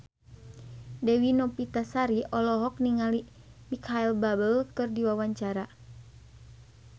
Dewi Novitasari olohok ningali Micheal Bubble keur diwawancara